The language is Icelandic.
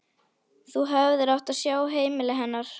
Þú hefðir átt að sjá heimili hennar.